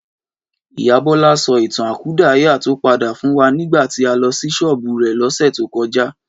Ìyá Bọ́lá sọ ìtàn àkúdàáyá tí ó pàdé fún wa nígbà tí a lọ sí ṣọ́ọ̀bù rẹ̀ lọ́sẹ̀ tó kọjá